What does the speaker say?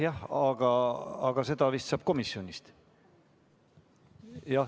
Jah, aga seda saab vist komisjonist.